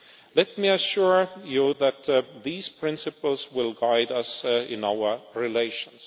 Let me assure you that these principles will guide us in our relations.